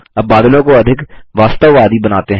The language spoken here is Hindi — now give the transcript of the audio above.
अब बादलों को अधिक वास्तववादी बनाते हैं